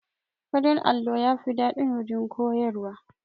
Farin allo yafi daɗin waje koyarwa